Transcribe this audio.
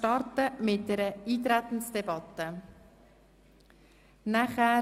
Ich möchte mit einer Eintretensdebatte starten.